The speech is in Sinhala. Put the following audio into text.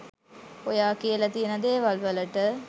ඔයා කියලා තියෙන දේවල්වලට